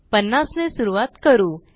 50 ने सुरूवात करू